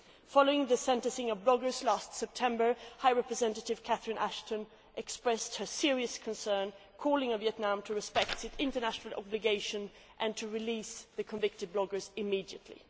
Following the sentencing of bloggers last September, High Representative Catherine Ashton expressed her serious concerns, calling on Vietnam to respect its international obligations and to release the convicted bloggers immediately.